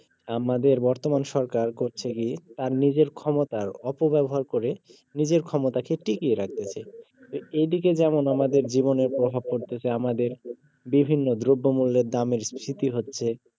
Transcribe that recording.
আমাদের বর্তমান সরকার করছে কি তার নিজের ক্ষমতার অপব্যবহার করে নিজের ক্ষমতাকে টিকিয়ে রাখতেছে এইদিকে যেমন আমাদের জীবনের প্রভাব পড়তেছে আমাদের বিভিন্ন দ্রব্যমুল্যের দামের স্ফীতি হচ্ছে